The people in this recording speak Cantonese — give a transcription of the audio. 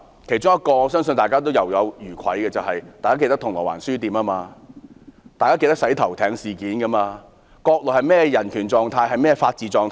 我相信大家仍猶有餘悸，大家還記得銅鑼灣書店事件、"洗頭艇事件"，而國內的人權、法治狀況是怎樣的？